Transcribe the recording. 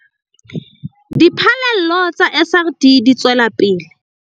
Diphallelo tsa SRD di tswela pele.